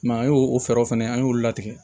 an y'o o fɛɛrɛw fɛnɛ an y'olu latigɛ